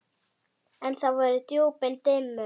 En það voru djúpin dimmu.